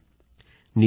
phone call समाप्त